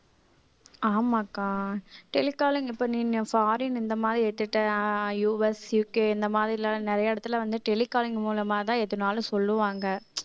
ஆமாக்கா telecalling பண்ணின்னேன் foreign இந்த மாதிரி US இருக்கு இந்த மாதிரி எல்லாம் நிறைய இடத்துல வந்து tele calling மூலமாதான் எதுனாலும் சொல்லுவாங்க